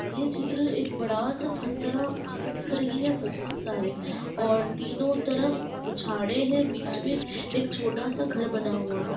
ये चित्र एक बड़ा-सा फतरा का दिख रही है बहोत सारे और तीनो तरफ उ झाड़े है बीच में एक छोटा-सा घर बना हुआ है।